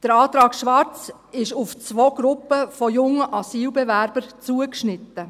Der Antrag Schwarz ist auf zwei Gruppen von jungen Asylbewerbern zugeschnitten.